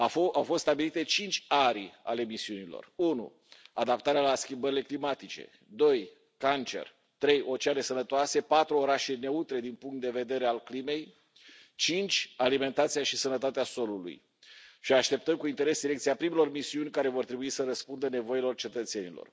Au fost stabilite cinci arii ale misiunilor unu adaptarea la schimbările climatice, doi cancer, trei oceane sănătoase, patru orașe neutre din punctul de vedere al crimei, cinci alimentația și sănătatea solului și așteptăm cu interes selecția primelor misiuni care vor trebui să răspundă nevoilor cetățenilor.